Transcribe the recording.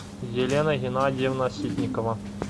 елена геннадьевна ситникова